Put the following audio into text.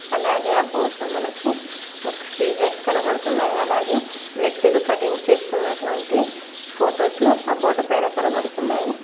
అలాగే ఆ బోర్డ్లో మనకి ఒక సిజర్స్ కనబడుతున్నాయ్ అలాగే వ్యక్తులు కటింగ్ చేసికొనేటివంటి ఫోటోసు ఆ బోర్డు పైన కనబడుతున్నాయి.